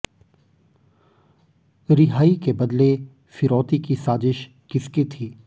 रिहाई के बदले फिरौती की साजिश किस की थी